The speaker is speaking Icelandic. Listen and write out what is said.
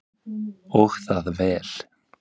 Og það vel.